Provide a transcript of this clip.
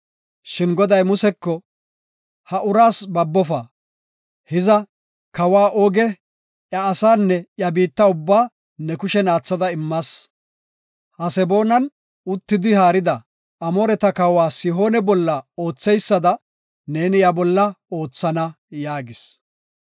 Shin Goday Museko, “Ha uraas babofa; hiza, kawa Ooge, iya asaanne iya biitta ubbaa ne kushen aathada immas. Haseboonan uttidi haarida Amooreta kawa Sihoone bolla ootheysada neeni iya bolla oothana” yaagis.